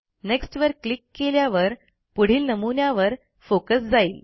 next वर click केल्यावर पुढील नमुन्यावर फोकस जाईल